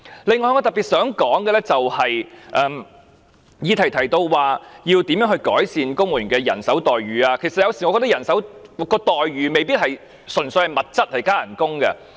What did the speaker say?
此外，我特別想說的，就是議案提到如何改善公務員的待遇，其實我有時候覺得待遇未必純粹涉及物質和加薪。